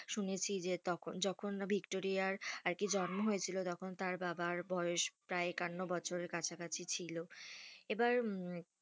শুনেছি যে তো~যখন ভিক্টোরিয়ার আর কি জন্ম হয়েছিল তখন তার বাবার বয়েস প্রায় একান্নো বছরের কাছাকাছি ছিল এবার,